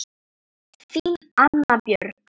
Þín, Anna Björg.